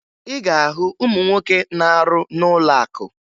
Ị ga-ahụ ụmụ nwoke na-arụ n'ụlọakụ